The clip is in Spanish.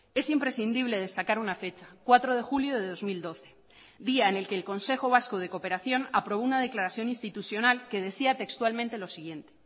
es imprescindible destacar una fecha cuatro de julio de dos mil doce día en el que el consejo vasco de cooperación aprobó una declaración institucional que decía textualmente lo siguiente